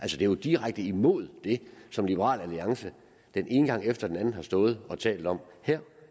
jo direkte imod det som liberal alliance den ene gang efter den anden har stået og talt om her